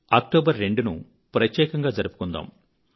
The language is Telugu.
2 అక్టోబరును ప్రత్యేకంగా జరుపుకుందాము